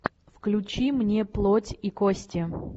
включи мне плоть и кости